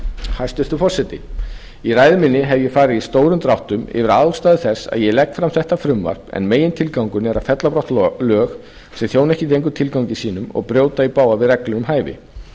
hæstvirtur forseti í ræðu minni hef ég farið í stórum dráttum yfir ástæður þess að ég legg fram þetta frumvarp en megintilgangurinn er að fella brott lög sem þjóna ekki lengur tilgangi sínum og brjóta í bága við reglur um hæfi